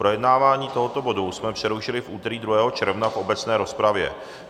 Projednávání tohoto bodu jsme přerušili v úterý 2. června v obecné rozpravě.